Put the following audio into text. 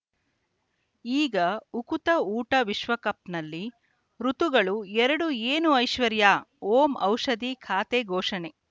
ಈಗ ಉಕುತ ಊಟ ವಿಶ್ವಕಪ್‌ನಲ್ಲಿ ಋತುಗಳು ಎರಡು ಏನು ಐಶ್ವರ್ಯಾ ಓಂ ಔಷಧಿ ಖಾತೆ ಘೋಷಣೆ